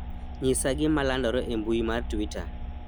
nyisa gima landore e mbui mar twita